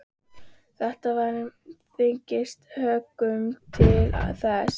Þetta var með þyngstu höggunum til þessa.